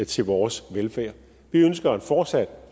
til vores velfærd vi ønsker en fortsat